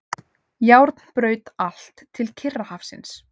Járnbraut allt til Kyrrahafsins.